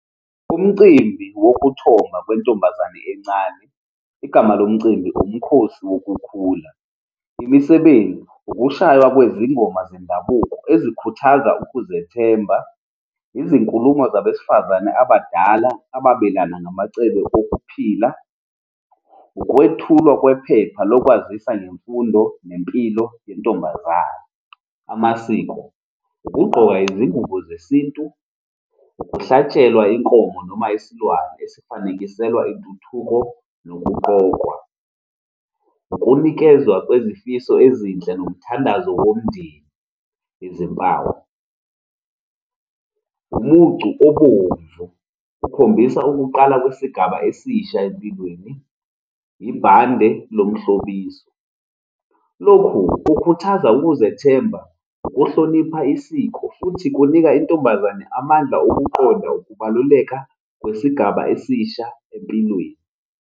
Umcimbi wokuthoma kwentombazane encane, igama lomcimbi, umkhosi wokukhula. Imisebenzi, ukushaywa kwezingoma zendabuko ezikhuthaza ukuzethemba, izinkulumo zabesifazane abadala ababelana namacebo okuphila, ukwethulwa kwephepha lokwazisa ngemfundo nempilo yentombazane. Amasiko, ukugqoka izingubo zesintu, ukuhlatshelwa inkomo noma isilwane esifanekiselwa intuthuko nokuqokwa, ukunikezwa kwezifiso ezinhle nomthandazo womndeni. Izimpawu, umucu obomvu okhombisa ukuqala kwesigaba esisha empilweni, ibhande lomhlobiso. Lokhu kukhuthaza ukuzethemba ukuhlonipha isiko, futhi kunika intombazane amandla okuqonda ukubaluleka kwisigaba esisha empilweni.